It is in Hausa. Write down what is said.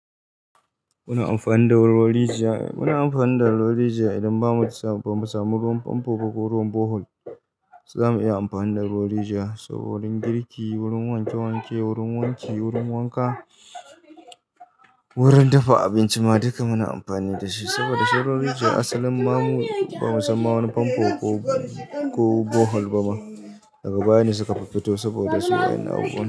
Muna amfani da ruwan rijiya, muna amfani da ruwar rijiya idan ba mu, bamu samu ruwan fanfo ba ko ruwan bohol, so za mu iya amfani da ruwar rijiya, su wurin girki, wurin wanke-wanke, wurin wanki, wurin wanka, wurin dafa abinci ma duka muna amfani da shi saboda shi ruwar rijiya asalin ma ba mu sanma wani fanfo ko bohol ba ma, daga baya ne suka fiffito saboda su yan.